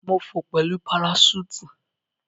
Mo fò pẹlu paraṣúùtì.